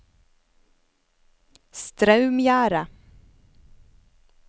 Straumgjerde